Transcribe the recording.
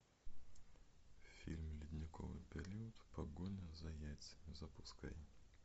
фильм ледниковый период погоня за яйцами запускай